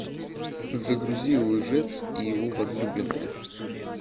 загрузи лжец и его возлюбленная